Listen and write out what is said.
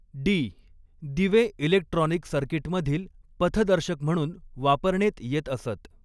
D दिवे electronic सर्किटमधील पथदर्शक म्हणून वापरणेत येत असत.